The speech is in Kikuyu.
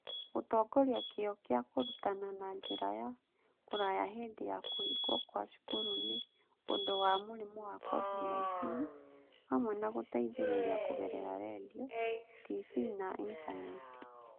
Gũtongoria kĩyo kĩa kũrutana na njĩra ya kũraya hĩndĩ ya kũhingwo kwa cukuru nĩ ũndũ wa mũrimũ wa COVID-19, hamwe na gũteithĩrĩria kũgerera redio, TV na Intaneti.